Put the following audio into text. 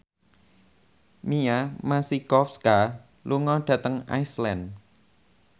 Mia Masikowska lunga dhateng Iceland